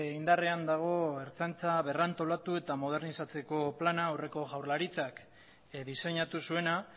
indarrean dago ertzaintza berrantolatu eta modernizatzeko plana aurreko jaurlaritzak diseinatu zuena